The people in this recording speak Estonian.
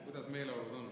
Kuidas meeleolud on?